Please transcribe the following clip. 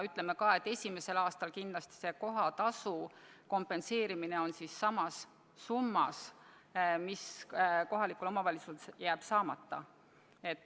Esimesel aastal võiks kindlasti kohatasu kompenseerida samas summas, mis kohalikul omavalitsusel jääb saamata.